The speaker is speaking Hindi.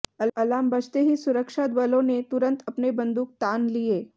अलार्म बजते ही सुरक्षा बलों ने तुरंत अपने बंदूक तान लिए